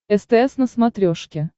стс на смотрешке